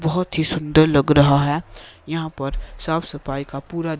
बहुत ही सुंदर लग रहा है यहां पर साफ सफाई का पूरा--